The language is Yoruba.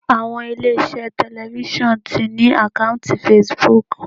Àwọn ilé iṣẹ́ tẹlifisiọnu ti ní àkọ́ùntì Facebook.